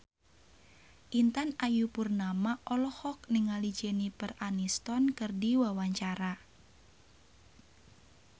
Intan Ayu Purnama olohok ningali Jennifer Aniston keur diwawancara